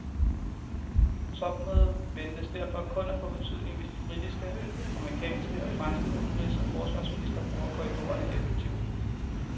Topmødet ventes derfor kun at få betydning, hvis de britiske, amerikanske og franske udenrigs og forsvarsministre bruger korridorerne effektivt.